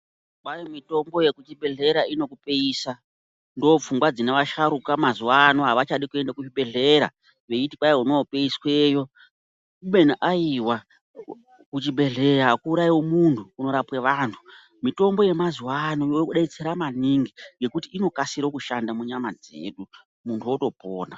Kwai mitombo yekuchibhedhlera inokupeisa ndopfungwa dzine asharuka mazuwa ano avachadi kuende kuzvibhedhlera veiti kwai unopeisweyo ubeni aiwa kuchibhedhleya akuuraiwi muntu kunorapwe vantu mitombo yemazuwa ano yedetsera maningi ngekuti inokasire kushanda munyama dzedu muntu otopona.